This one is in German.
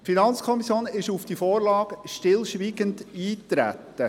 Die FiKo ist auf die Vorlage stillschweigend eingetreten.